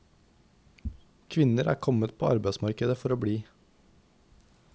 Kvinner er kommet på arbeidsmarkedet for å bli.